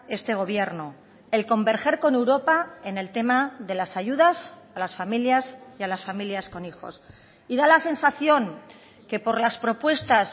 este gobierno el converger con europa en el tema de las ayudas a las familias y a las familias con hijos y da la sensación que por las propuestas